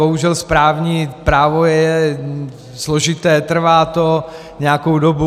Bohužel správní právo je složité, trvá to nějakou dobu.